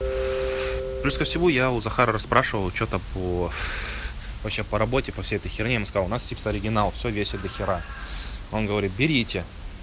плюс ко всему я у захара расспрашивал что-то по вообще по работе по всей этой херне он сказал у нас типа оригинал всё весит дохера он говорит берите